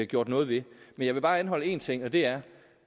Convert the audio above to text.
gjort noget ved men jeg vil bare anholde én ting og det er